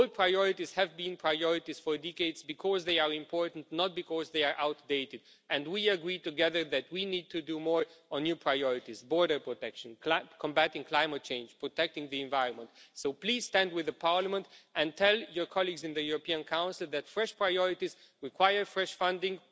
Old priorities have been priorities for decades because they are important, not because they are outdated, and we agree together that we need to do more on new priorities border protection, combating climate change and protecting the environment. So please stand with Parliament and tell your colleagues in the European Council that fresh priorities require fresh funding.